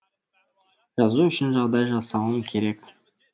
жазу үшін жағдай жасауым керек